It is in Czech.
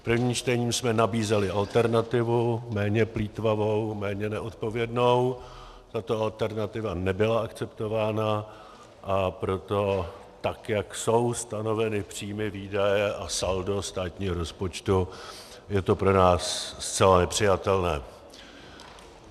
V prvním čtení jsme nabízeli alternativu, méně plýtvavou, méně neodpovědnou, tato alternativa nebyla akceptována, a proto tak jak jsou stanoveny příjmy, výdaje a saldo státního rozpočtu, je to pro nás zcela nepřijatelné.